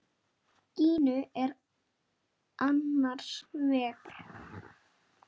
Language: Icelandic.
Gínu er annars vegar.